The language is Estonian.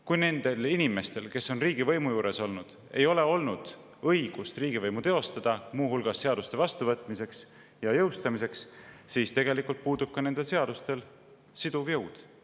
Kui nendel inimestel, kes on riigivõimu juures olnud, ei ole olnud õigust riigivõimu teostada, muu hulgas seadusi vastu võtta ja jõustada, siis tegelikult puudub ka nendel seadustel siduv jõud.